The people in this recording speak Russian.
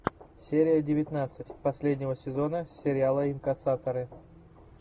серия девятнадцать последнего сезона сериала инкассаторы